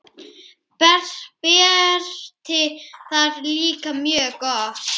Berti það líka mjög gott.